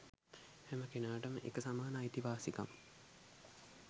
හෑම කෙනාටම එක සමාන අයිතිවාසිකම්